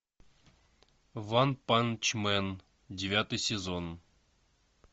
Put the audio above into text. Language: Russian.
ванпанчмен девятый сезон